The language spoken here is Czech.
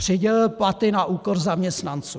Přidělil platy na úkor zaměstnanců.